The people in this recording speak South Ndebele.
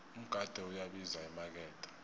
umgade uyabiza emakethe